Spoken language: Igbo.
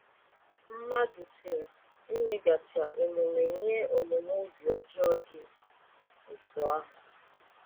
Mmadụ si emeghachi omume nye omume obi ọjọọ dị otú ahụ?